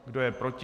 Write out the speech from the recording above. Kdo je proti?